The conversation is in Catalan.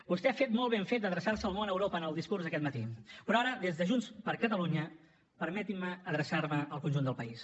vostè ha fet molt ben fet d’adreçar se al món a europa en el discurs d’aquest matí però ara des de junts per catalunya permetin me adreçar me al conjunt del país